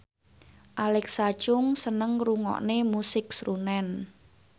Alexa Chung seneng ngrungokne musik srunen